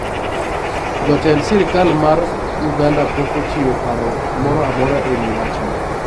Jotend sirkal mag Uganda pok ochiwo paro moro amora e wi wachno.